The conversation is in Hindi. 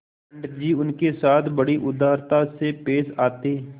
पंडित जी उनके साथ बड़ी उदारता से पेश आते